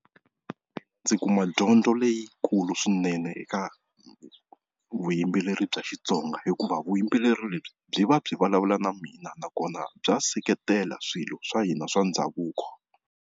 Ndzi kuma dyondzo leyikulu swinene eka vuyimbeleri bya Xitsonga, hikuva vuyimbeleri lebyi byi va byi vulavula na mina, nakona bya seketela swilo swa hina swa ndhavuko.